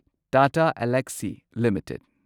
Tata Elxsi limited